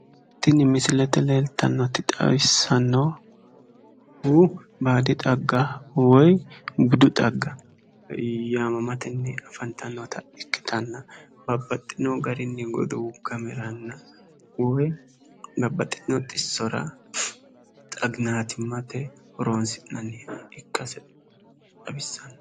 Tini misilete leeltannoti xawissannohu baadi xagga woyi budu xagga yaamamatenni afantannota ikkitanna babbaxxino garinni godowu gameranna woyi babbaxxitino xissora xaginaatimmate horoonsi'nanniha ikkase xawissanno.